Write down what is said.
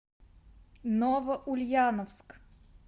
новоульяновск